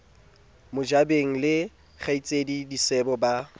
mojabeng le kgaitsedie disebo ba